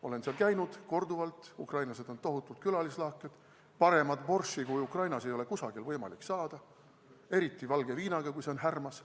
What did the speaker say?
Olen seal käinud korduvalt, ukrainlased on tohutult külalislahked, paremat borši kui Ukrainas ei ole kusagil võimalik saada, eriti valge viinaga, kui see on härmas.